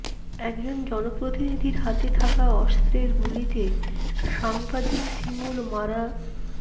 একজন জনপ্রতিনিধির হাতে থাকা অস্ত্রের গুলিতে সাংবাদিক শিমুল মারা